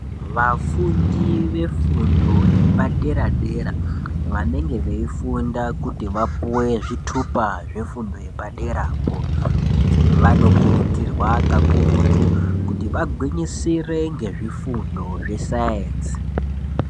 Vafundi vefundo yepaderadera vanenge veyifunda kuti vapuwe zvitupa zvefundo yepaderapo vanokurudzirwa kakurutu kuti vagwinyisire ngezvifundo zvesaenzi.